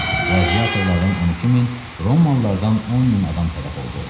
Qladiatorlardan 12 min, Romalılardan 10 min adam tələf oldu.